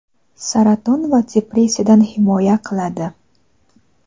saraton va depressiyadan himoya qiladi.